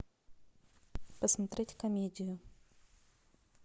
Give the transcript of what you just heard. посмотреть комедию